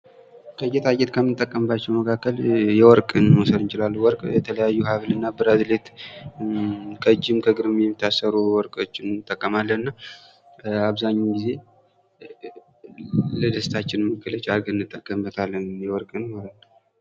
ከጌጣጌጥ ከምንጠቀምባቸው መካከል እንግዲህ ወርቅን መውሰድ እንችላለን። እንግዲህ ወርቅ የትለያዩ ሀብል እና ብራሲሌት ከእጅም ከእግርም የሚታሰሩ ወርቆችም እንጠቀማለን። እና አብዛኛውን ጊዜ ለደስታችን መገለጫ አድርገን እንጠቀምበታለን።